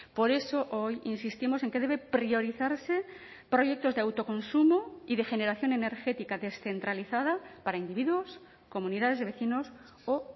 por eso hoy insistimos en que debe priorizarse proyectos de autoconsumo y de generación energética descentralizada para individuos comunidades de vecinos o